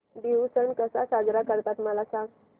बिहू सण कसा साजरा करतात मला सांग